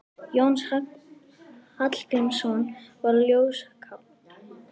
Jónas Hallgrímsson var ljóðskáld.